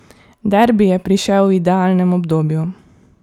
Derbi je prišel v idealnem obdobju.